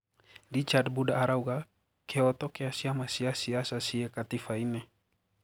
Richard Mbunda arauga,"Kihoto kia cĩama ciasiasa cie katiba inĩ.